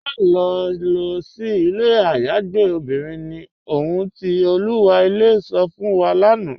Máṣẹ̀ lọ sí ilẹ̀ ayàgbẹ̀ obìnrin ni, ọ̀hun ti Olúwa ilẹ̀ sọ̀ fún wa lánà.